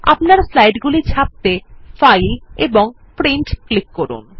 আপনার স্লাইড গুলি ছাপতে ফাইল এবং Print এ ক্লিক করুন